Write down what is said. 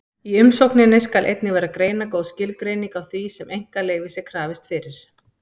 Í umsókninni skal einnig vera greinagóð skilgreining á því sem einkaleyfis er krafist fyrir.